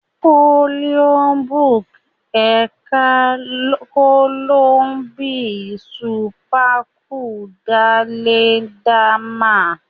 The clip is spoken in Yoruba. Oiho buuk’ e ká koolo bi s’upekun dá lẹ dá ma.